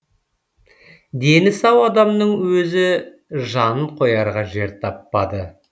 дені сау адамның өзі жанын қоярға жер таппады